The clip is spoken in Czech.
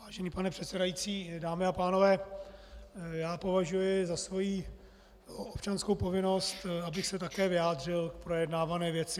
Vážený pane předsedající, dámy a pánové, já považuji za svoji občanskou povinnost, abych se také vyjádřil k projednávané věci.